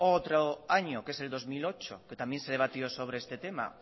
otro año que es el dos mil ocho que también se debatió sobre este tema